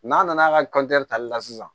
N'a nana ka tali la sisan